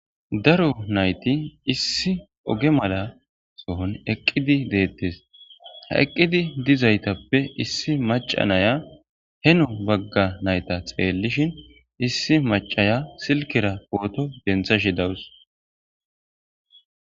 daro nayti issi oge mala sohon eqqidi deettes ha eqqidi dizaytappe issi maca naya heno bagga nayta xeellishin issi macaya silkera pooto dentha shi dawus